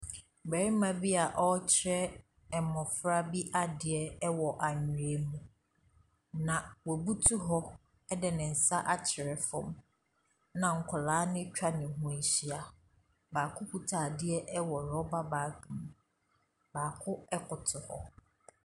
Barima bi a ɔrekyerɛ mmɔfra bi adeɛ wɔ anwea mu, na wabutu hɔ de ne nsa atwerɛ fam, na kwadaa no atwa ne ho ahyia. Baako kuta adeɛ wɔ rɔbɔ bag mu. Baako koto hɔ.